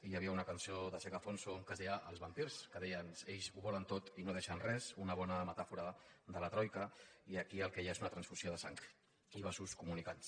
hi havia una cançó de zeca alfonso que es deia els vampirs que deia ells ho volen tot i no deixen res una bona metàfora de la troica i aquí el que hi ha és una transfusió de sang i vasos comunicants